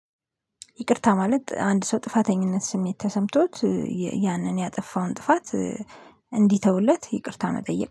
ይቅርታ ማለት አንድ ሰው ጥፋተኝነት ስሜት ተሰምቶት ያንን ያጠፋውን ጥፋት። እንዲተውለት ይቅርታ መጠየቅ